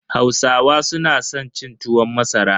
Hausawa su na san cin tuwon masara.